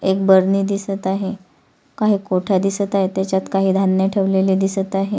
एक भरणी दिसत आहे काही कोठया दिसत आहे त्याच्यात काही धान्य ठेवलेले दिसत आहे.